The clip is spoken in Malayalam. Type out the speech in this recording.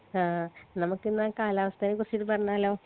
ആ നമ്മുക്കിന്ന കാലാവസ്ഥനെ കുറിച്ചിട്ട് പറഞ്ഞാലോ